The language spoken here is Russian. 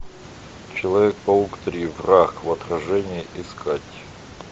человек паук три враг в отражении искать